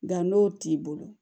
Nka n'o t'i bolo